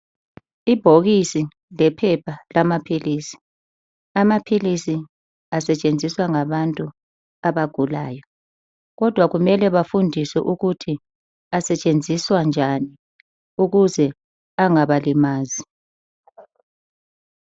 Ibhokisi lephepha lamaphilisi. Amaphilisi asetshenziswa ngabantu abagulayo kodwa kumele bafundiswe ukuthi asetshenziswa njani ukuze angabalimazi.